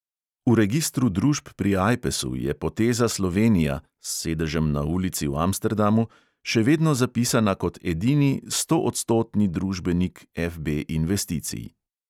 V registru družb pri ajpesu je poteza slovenija (s sedežem na ulici v amsterdamu) še vedno zapisana kot edini, stoodstotni družbenik FB investicij.